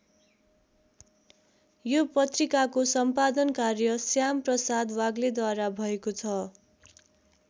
यो पत्रिकाको सम्पादन कार्य श्याम प्रसाद वाग्लेद्वारा भएको छ।